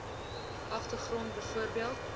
ander grond bv